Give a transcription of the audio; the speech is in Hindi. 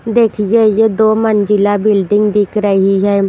देखिए ये दो मंजिला बिल्डिंग दिख रही है।